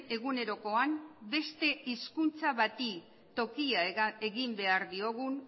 egunerokoan beste hizkuntza bati tokia egin behar diogun